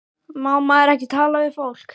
Má maður ekki tala við fólk?